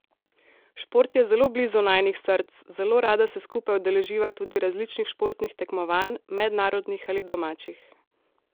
Šport je zelo blizu najinih src, zelo rada se skupaj udeleživa tudi različnih športnih tekmovanj, mednarodnih ali domačih.